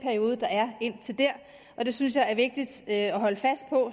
det synes jeg er vigtigt at holde fast